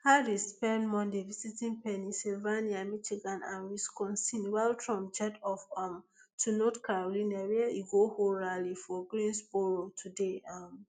harris spend monday visiting pennsylvania michigan and wisconsin while trump jet off um to north carolina where e go hold rally for greensboro today um